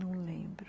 Não lembro.